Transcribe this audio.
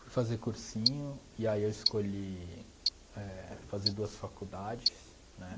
Fui fazer cursinho e aí eu escolhi éh fazer duas faculdades, né?